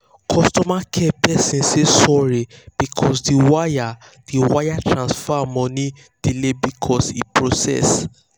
customer care person say sorry because the wire the wire transfer money delay before e process.